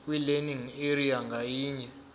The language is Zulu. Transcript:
kwilearning area ngayinye